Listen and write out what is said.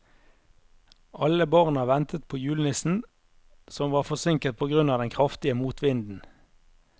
Alle barna ventet på julenissen, som var forsinket på grunn av den kraftige motvinden.